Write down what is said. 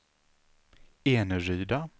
Eneryda